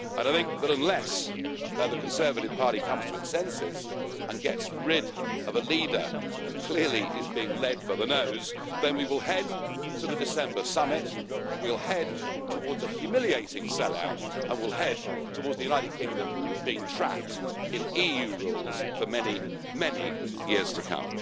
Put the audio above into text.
I think that unless the Conservative Party comes to its senses and gets rid of a leader who clearly is being led by the nose, then we will head to the December summit, we will head towards a humiliating sell out, and we will head towards the United Kingdom being trapped in EU rules for many, many years to come.